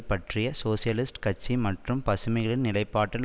பற்றிய சோசியலிஸ்ட் கட்சி மற்றும் பசுமைகளின் நிலைப்பாட்டில்